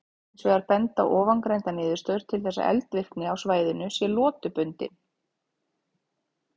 Hins vegar benda ofangreindar niðurstöður til þess að eldvirkni á svæðinu sé lotubundin.